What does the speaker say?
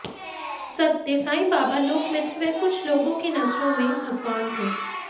सत्य साईं बाबा लोकमित्र वह कुछ लोगों की नजरों में भगवान थे